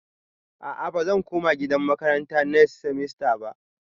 A'a bazan koma gidan makaranta next semester ba